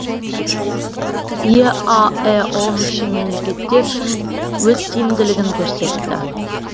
еаэо мүше мемлекеттер үшін өз тиімділігін көрсетті